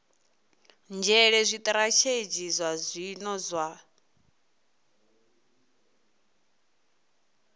nzhele zwitirathedzhi zwa zwino zwa